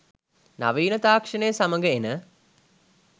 නවීන තාක්‍ෂණය සමඟ එන